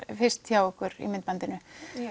fyrst hjá ykkur í myndbandinu